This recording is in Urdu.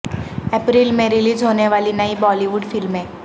اپریل میں ریلیز ہونے والی نئی بالی ووڈ فلمیں